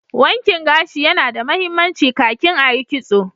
Wankin gashi ya na da mahimmanci ka kin a Yi kitso